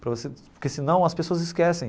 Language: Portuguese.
Para você porque senão as pessoas esquecem.